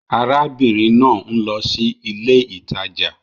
Ará bìnrin náà ń lo sí ilé ìtajà